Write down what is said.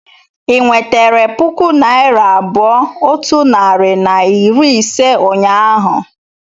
ị nwetere puku naịra abụọ otu narị na iri ise ụnyahụ?